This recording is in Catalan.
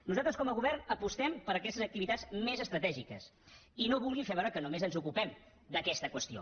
nosaltres com a govern apostem per aquetes activitats més estratègiques i no vulgui fer veure que només ens ocupem d’aquesta qüestió